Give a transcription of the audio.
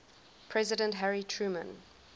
president harry truman